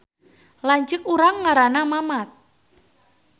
Lanceuk urang ngaranna Mamat